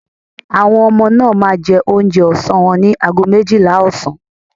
Àwọn ọmọ náà máa jẹ oúnjẹ ọsán wọn ní àgọ́ méjìlá ọ̀sán